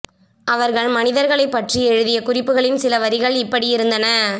அவர்கள் மனிதர்களைப் பற்ற்றி எழுதிய குறிப்புகளின் சில வரிகள் இப்படி இருந்தன